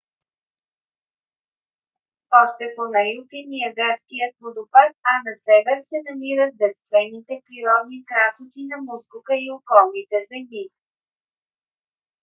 още по на юг е ниагарският водопад а на север се намират девствените природни красоти на мускока и околните земи